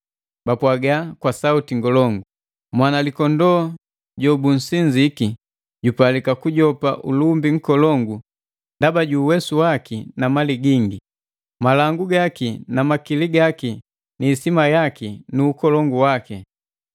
bapwaga kwa sauti ngolongu: “Mwanalikondoo jobunsinziki jupalika kujopa ulumbi nkolongu ndaba ju uwesu waki na mali gingi, malangu gaki na makili gaki ni isima yaki nu ukolongu waki.”